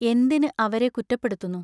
എന്തിന് അവരെ കുറ്റപ്പെടുത്തുന്നു.